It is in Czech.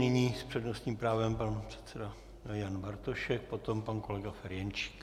Nyní s přednostním právem pan předseda Jan Bartošek, potom pan kolega Ferjenčík.